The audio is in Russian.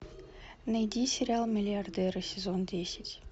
найди сериал миллиардеры сезон десять